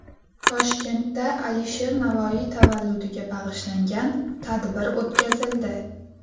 Toshkentda Alisher Navoiy tavalludiga bag‘ishlangan tadbir o‘tkazildi.